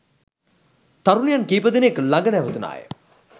තරුණියන් කීප දෙනෙක් ළඟ නැවතුනා ය.